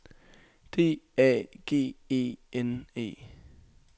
D A G E N E